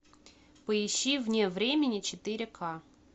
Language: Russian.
поищи вне времени четыре ка